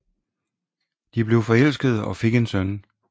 De blev forelskede og fik en søn